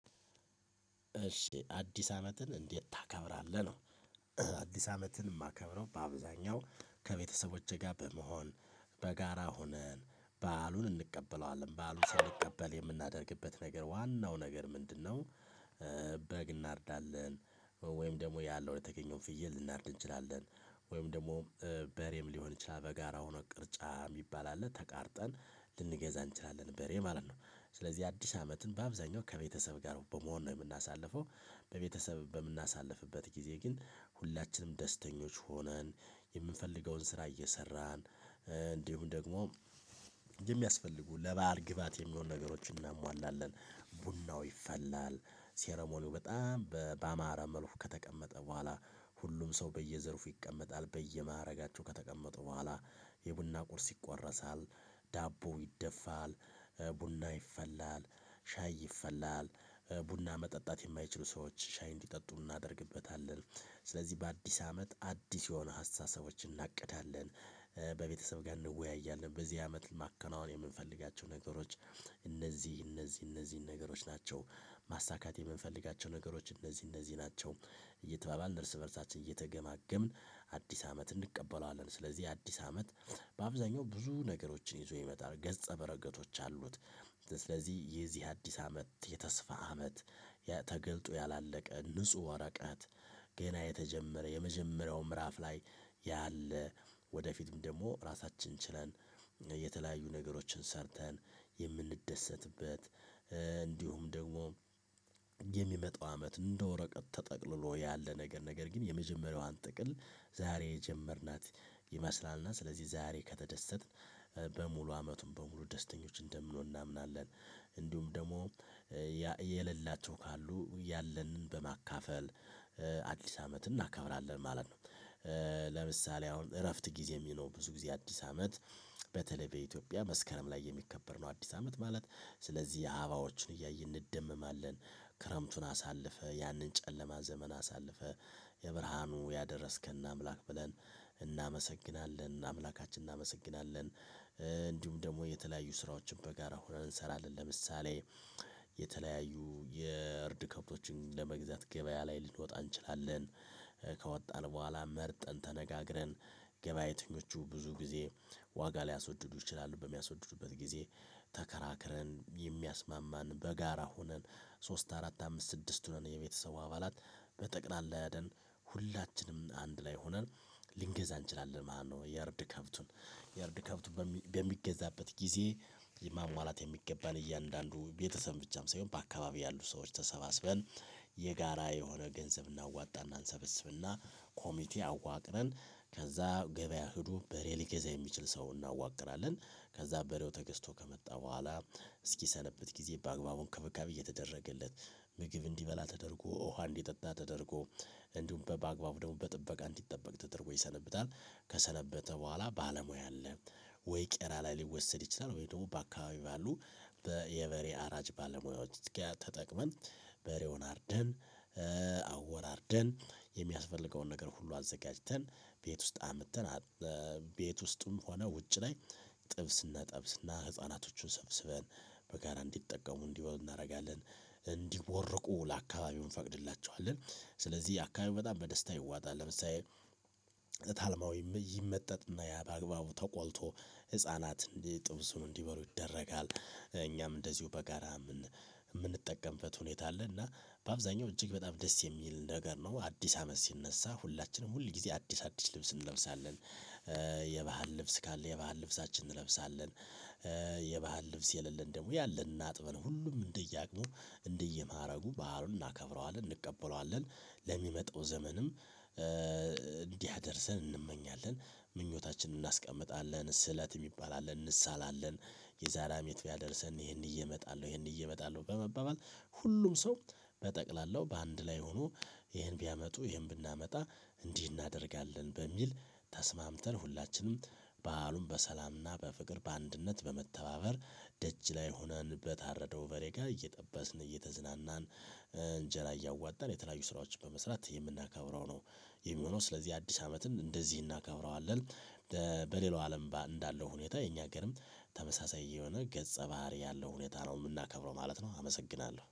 እሺ አዲስ አመትን እንዴት ታከብራለህ ነው? አዲስ አመትን እማከብረው በአብዛኛው ከቤተሰቦቼ ጋር በመሆን በጋራ ሆነን በዓሉን እንቀበለዋለን በዓሉን ስንቀበል የምናደርግበት ነገር ዋናው ነገር ምንድነው? በግ እናርዳለን ወይም ደግሞ ያለው የተገኘውን ፍየል ልናርድ እንችላለን ወይም ደግሞ በሬም ሊሆን ይችላል በጋራ ሆኖ ቅርጫ እሚባል አለ ተቃርጠን ልንገዛ እንችላለን በሬ ማለት ነው ስለዚህ አዲስ አመትን በአብዛኛው ከቤተሰብ ጋር በመሆን ነው የምናሳልፈው። በቤተሰብ በምናሳልፍበት ጊዜ ግን ሁላችንም ደስተኞች ሆነን የምንፈልገውን ስራ እየሰራን እንዲሁም ደግሞ የሚያስፈልጉ ለበአል ግባት የሚሆኑ ነገሮችን እናሟላለን። ቡናው ይፈላል ሴረሞኒው በጣም ባማረ መልኩ ከተቀመጠ በኋላ። ሁሉም ሰው በየዘርፉ ይቀመጣል በየማዕረጋቸው ከተቀመጡ በኋላ። የቡና ቁርስ ይቆረሳል ዳቦ ይደፋል ቡና ይፈላል ሻይ ይፈላል ቡና መጠጣት የማይችሉ ሰዎች ሻይ እንዲጠጡ እናደርግበታለን። ስለዚህ በአዲስ አመት አዲስ የሆነ ሀስተሳሰቦችን እናቅዳለን። በቤተሰብ ጋር እንወያያለን በዚህ አመት ማከናወን የምንፈልጋቸው ነገሮች እነዚህ እነዚህ ነገሮች ናቸው። ማሳካት የምንፈልጋቸው ነገሮች እነዚህ እነዚህ ናቸው እየተባባልን እርስ በእርሳችን እየተገማገምን አዲስ አመት እንቀበለዋለን። ስለዚህ አዲስ አመት በአብዛኛው ብዙ ነገሮችን ይዞ ይመጣል ገጸ በረገቶች አሉት። ስለዚህ የዚህ አዲስ አመት የተስፋ አመት። ተገልጦ ያላለቀ ንጹህ ወረቀት ገና የተጀመረ የመጀመሪያው ምዕራፍ ላይ ያለ ወደፊትም ደግሞ ራሳችንን ችለን የተለያዩ ነገሮችን ሰርተን የምንደሰትበት። እንዲሁም ደግሞ የሚመጣው አመት እንደ ወረቀት ተጠቅልሎ ያለ ነገር ነገር ግን የመጀመሪያዋን ጥቅል። ዛሬ የጀመርናት ይመስላልና ስለዚህ ዛሬ ከተደሰትን በሙሉ አመቱን በሙሉ ደስተኞች እንደምንሆን እናምናለን። እንዲሁም ደግሞ የሌላቸው ካሉ ያለንን በማካፈል አዲስ አመት እናከብራለን ማለት ነው። ለምሳሌ አሁን እረፍት ጊዜ ሚናው ብዙ ጊዜ አዲስ አመት በተለይ በኢትዮጵያ መስከረም ላይ የሚከበር ነው። አዲስ አመት ማለት ስለዚህ አባዎችን እያየ እንደመማለን ክረምቱን አሳልፈ ያንን ጨለማ ዘመን አሳልፈ የብርሃኑ ያደረስከን አምላክ ብለን እናመሰግናለን አምላካችን እናመሰግናለን። እንዲሁም ደግሞ የተለያዩ ስራዎችን በጋራ ሆነን እንሰራለን ለምሳሌ። የተለያዩ የእርድ ከብቶችን ለመግዛት ገበያ ላይ ልንወጣ እንችላለን። ከወጣን በኋላ መርጠን ተነጋግረን ገበያተኞቹ ብዙ ጊዜ ዋጋ ሊያስወድዱ ይችላሉ በሚያስወድዱበት ጊዜ። ተከራክረን የሚያስማማን በጋራ ሆነን ሶስት አራት አምስት ስድስት ሆነን የቤተሰቡ አባላት በጠቅላላ ሄደን ሁላችንም አንድ ላይ ሆነን ልንገዛ እንችላለን ማለት ነው። የእርድ ከብቱን የእርድ ከብቱን በሚገዛበት ጊዜ ማሟላት የሚገባን እያንዳንዱ ቤተሰብ ብቻም ሳይሆን በአካባቢው ያሉ ሰዎች ተሰባስበን። የጋራ የሆነ ገንዘብ እናዋጣ እንሰበስብና ኮሚቴ አዋቅረን ከዛ ገበያ ሂዱ በሬ ሊገዛ የሚችል ሰው እናዋቅራለን። ከዛ በሬው ተገዝቶ ከመጣ በኋላ እስኪሰነብት ጊዜ በአግባቡን ከበካብ እየተደረገለት ምግብ እንዲበላ ተደርጎ ውሃ እንዲጠጣ ተደርጎ እንዲሁም በአግባቡ ደግሞ በጥበቃ እንዲጠበቅ ተደርጎ ይሰነብታል። ከሰነበተ በኋላ ባለሙያ አለ ወይ ቄራ ላይ ሊወሰድ ይችላል። ወይ ደግሞ በአካባቢ ባሉ የበሬ አራጅ ባለሙያዎች ጋር ተጠቅመን በሬውን አርደን። አወራርደን የሚያስፈልገውን ነገር ሁሉ አዘጋጅተን ቤት ውስጥ አምጥተን። ቤት ውስጥም ሆነ ውጭ ላይ ጥብስ እጠብስና ህፃናቶቹን ሰብስበን በጋራ እንዲጠቀሙ እንዲበሉ እናደርጋለን። እንዲቦርቁ ለአካባቢው እንፈቅድላቸዋለን ስለዚህ አካባቢው በጣም በደስታ ይዋጣል። ለምሳሌ እታልማዊ ይመጠጥና ያ በአግባቡ ተቆልቶ ህፃናት ጥብሱን እንዲበሉ ይደረጋል። እኛም እንደዚሁ በጋራ የምንጠቀምበት ሁኔታ አለ እና በአብዛኛው እጅግ በጣም ደስ የሚል ነገር ነው። አዲስ አመት ሲነሳ ሁላችንም ሁል ጊዜ አዲስ አዲስ ልብስ እንለብሳለን። የባህል ልብስ ካለ የባህል ልብሳችን እንለብሳለን። የባህል ልብስ የሌለን ደግሞ ያለንን አጥበን ሁሉም እንደየአቅሙ እንደየማረጉ ባህሉን እናከብረዋለን እንቀበለዋለን። ለሚመጣው ዘመንም እንዲአደርሰን እንመኛለን ምኞታችንን እናስቀምጣለን ስለት የሚባል አለን እንስሳላለን። የዛሬ አመት ቢያደርሰን ይሄን ይዤ እየመጣለሁ ይሄን ይዤ እየመጣለሁ በመባባል ሁሉም ሰው በጠቅላላው በአንድ ላይ ሆኖ ይሄን ቢያመጡ ይሄን ብናመጣ እንዲህ እናደርጋለን። በሚል ተስማምተን ሁላችንም በዓሉን በሰላምና በፍቅር በአንድነት በመተባበር ደጅ ላይ ሆነን በታረደው በሬ ጋር እየጠበስን እየተዝናናን እንጀራ እያዋጠን የተለያዩ ስራዎችን በመስራት የምናከብረው ነው። የሚሆነው ስለዚህ አዲስ አመትን እንደዚህ እናከብረዋለን። በሌላው አለም ባህል እንዳለው ሁኔታ የኛ ሀገርም ተመሳሳይ የሆነ ገጸ ባህሪ ያለው ሁኔታ ነው እምናከብረው ማለት ነው። አመሰግናለሁ